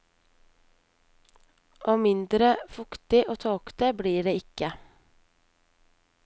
Og mindre fuktig og tåkete blir det ikke.